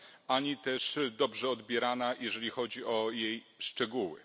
ani też dobrze odbierana, jeżeli chodzi o jej szczegóły.